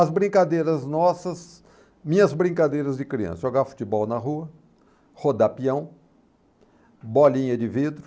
As brincadeiras nossas, minhas brincadeiras de criança, jogar futebol na rua, rodar peão, bolinha de vidro,